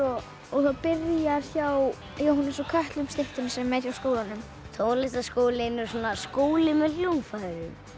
það byrjar hjá Jóhannesi úr kötlum styttunni sem er hjá skólanum tónlistarskólinn er svona skóli með hljóðfærum